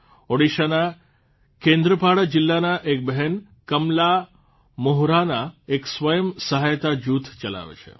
ઓડિશાના કેંદ્રપાડા જીલ્લાના એક બહેન કમલા મોહરાના એક સ્વયં સહાયતા જૂથ ચલાવે છે